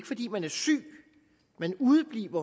fordi man er syg man udebliver